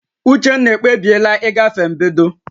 Uchenna ekpebiela ịgafe mbedo